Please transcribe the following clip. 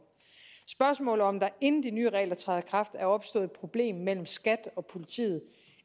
spørgsmålet om hvorvidt der inden de nye regler træder i kraft er opstået et problem mellem skat og politiet